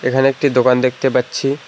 এখানে একটি দোকান দেখতে পাচ্ছি।